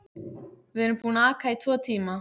Við erum búin að aka í tvo tíma.